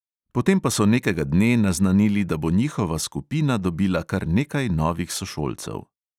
Potem pa so nekega dne naznanili, da bo njihova skupina dobila kar nekaj novih sošolcev.